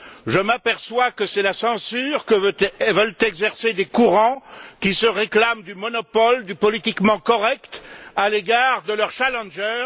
Je m'aperçois que c'est la censure que veulent exercer des courants qui se réclament du monopole du politiquement correct à l'égard de leur challenger.